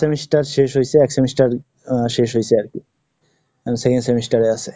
semester শেষ হয়েছে, এক semester শেষ হয়েছে আর কি, এখন second semester এ আছে।